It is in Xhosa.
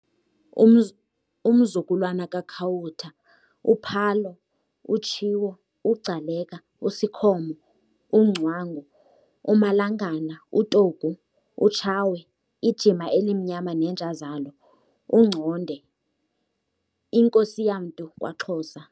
Umzukulwana kaKhawutha, uPhalo, uTshiwo, uGcaleka, uSikhomo, uNgcwangu, uMalangana, uTogu, uTshawe, iJima elimnyama neenja zalo, uNgconde, iNkos'yamntu kwaXhosa